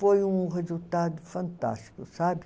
Foi um resultado fantástico, sabe?